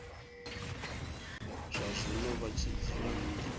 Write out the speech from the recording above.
zwazwino vha tshi dzula nnḓa